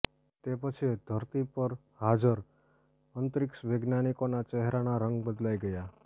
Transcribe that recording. તે પછી ધરતી પર હાજર અંતરિક્ષ વૈજ્ઞાનિકોના ચહેરાના રંગ બદલાઈ ગયા